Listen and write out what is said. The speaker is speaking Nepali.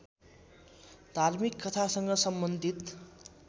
धार्मिक कथासँग सम्बन्धित